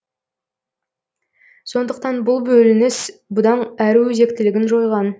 сондықтан бұл бөлініс бұдан әрі өзектілігін жойған